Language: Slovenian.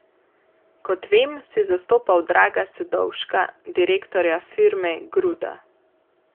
Kot vem, si zastopal Draga Sedovška, direktorja firme Gruda.